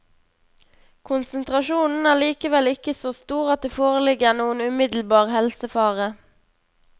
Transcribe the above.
Konsentrasjonen er likevel ikke så stor at det foreligger noen umiddelbar helsefare.